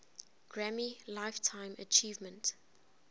grammy lifetime achievement